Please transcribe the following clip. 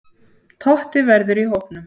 Totti verður í hópnum.